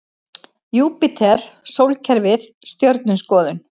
Júpíter Sólkerfið Stjörnuskoðun.